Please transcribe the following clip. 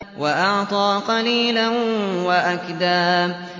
وَأَعْطَىٰ قَلِيلًا وَأَكْدَىٰ